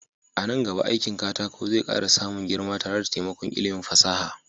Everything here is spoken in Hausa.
A nan gaba aikin katako zai ƙara samun girma tare da taimakon ilimin fasaha.